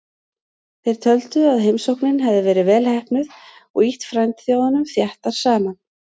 Þeir töldu að heimsóknin hefði verið vel heppnuð og ýtt frændþjóðunum þéttar saman.